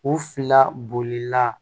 U fila bolila